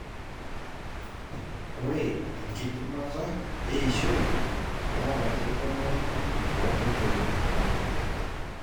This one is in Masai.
ore enkidimata eishoi naa ketumoyu too nkoitoi kumok